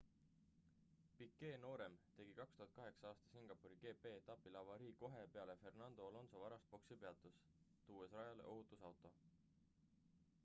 piquet noorem tegi 2008 aasta singapuri gp-etapil avarii kohe peale fernando alonso varast boksipeatust tuues rajale ohutusauto